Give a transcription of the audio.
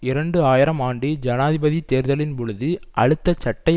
இரண்டு ஆயிரம் ஆண்டு ஜனாதிபதி தேர்தலின் பொழுது அழுத்தஅட்டை